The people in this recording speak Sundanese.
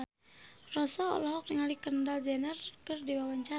Rossa olohok ningali Kendall Jenner keur diwawancara